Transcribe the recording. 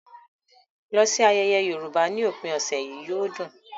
Lọ sí ayẹyẹ Yorùbá ní òpin ọ̀sẹ̀ yìí - yóò dùn!